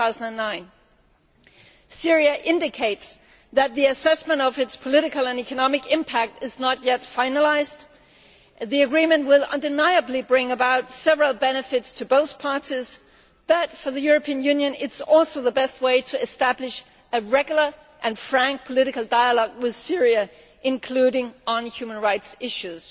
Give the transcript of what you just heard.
2009. Syria indicates that the assessment of its political and economic impact is not yet finalised. The agreement will undeniably bring several benefits to both parties but, for the European Union, it is also the best way to establish a regular and frank political dialogue with Syria, including on human rights issues.